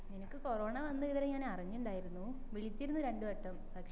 നിനക്ക് കൊറോണ വന്ന വിവരം ഞാൻ അറിഞ്ഞില്ലായിരുന്നു വിളിച്ചിരുന്നു രണ്ടു വട്ടം